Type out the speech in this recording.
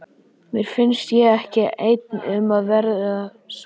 Mér finnst ég ekki einn um að vera svona